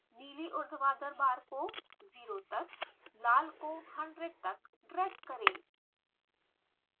नीली उर्ध्वाधर बार को ज़ीरो तक लाल को 100 तक ड्रैग करें